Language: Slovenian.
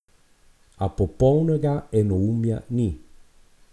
A popolnega enoumja ni.